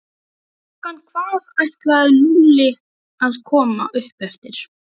Klukkan hvað ætlaði Lúlli að koma upp eftir?